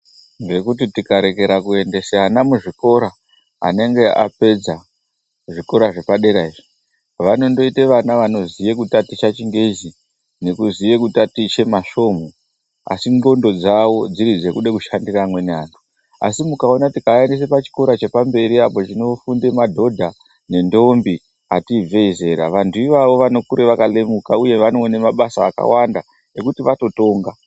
Ngekuti tikarekera kuendese ana muzvikora anenge apedza zvikora zvepadera izvi vanondoita vana vanoziya kutaticha chingezi nekuziye kutaticha masvomhu asi ndxondo dzawo dziri dzekude kushandisa amweni antu asi mukaona tikaaendesa pachikora chepamberi apo chinofunde madhodha nendombi ati ibvei zera vantu ivavo vanokura vakalemuka uye vanokone mabasa akawanda ekuti vatotonga.